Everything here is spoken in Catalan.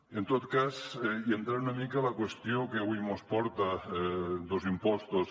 i en tot cas i entrant una mica en la qüestió que avui mos porta dos impostos